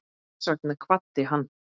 Þess vegna kvaddi hann.